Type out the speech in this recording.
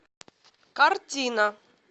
картина